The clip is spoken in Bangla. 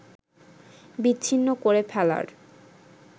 বিচ্ছিন্ন করে ফেলার